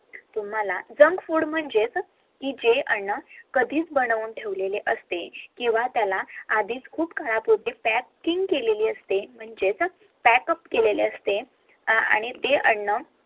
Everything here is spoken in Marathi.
तुम्हाला JUNK FOOD म्हणजेच जे अन्न कधीच बनवून ठेवलेले असते आणि ते अन्न